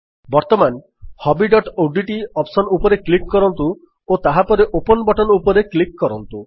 ବର୍ତ୍ତମାନ hobbyଓଡିଟି ଅପ୍ସନ୍ ଉପରେ କ୍ଲିକ୍ କରନ୍ତୁ ଓ ତାହାପରେ ଓପନ୍ ବଟନ୍ ଉପରେ କ୍ଲିକ୍ କରନ୍ତୁ